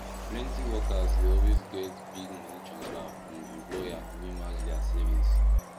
plenty workers dey always get big money transfer from employer wey match their savings